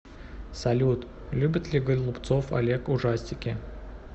салют любит ли голубцов олег ужастики